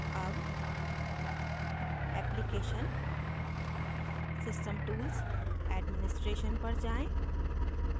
अब application system tools administration पर जाएँ